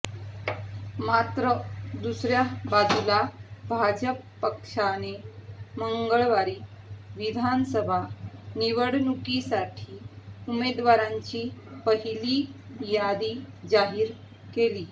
मात्र दुसऱ्या बाजूला भाजप पक्षाने मंगळवारी विधानसभा निवडणूकीसाठी उमेदवारांची पहिली यादी जाहीर केली